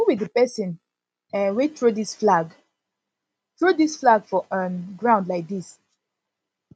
who be the person um wey throw dis flag throw dis flag for um ground like dis